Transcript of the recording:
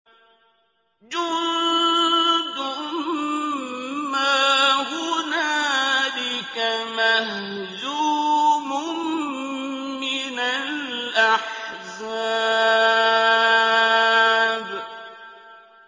جُندٌ مَّا هُنَالِكَ مَهْزُومٌ مِّنَ الْأَحْزَابِ